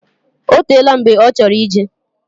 Otela mgbe ochoro ijee.